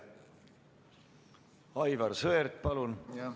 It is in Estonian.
Aivar Sõerd, palun!